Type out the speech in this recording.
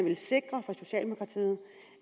vil sikre